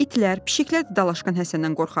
İtlər, pişiklər də dalaşqan Həsəndən qorxardılar.